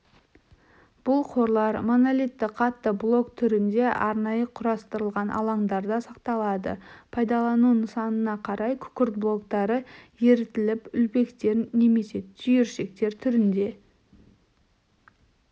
бұл қорлар монолитті қатты блок түрінде арнайы құрастырылған алаңдарда сақталады пайдаланылу нысанына қарай күкірт блоктары ерітіліп үлпектер немесе түйіршіктер түрінде